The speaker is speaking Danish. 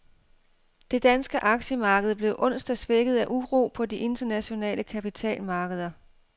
Det danske aktiemarked blev onsdag svækket af uro på de internationale kapitalmarkeder.